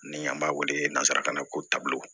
Ni an b'a wele nanzarakan na ko taabolo